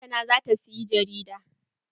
Lantana zata siyi jarida.